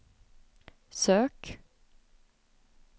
sök